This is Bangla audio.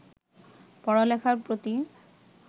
পড়ালেখার প্রতি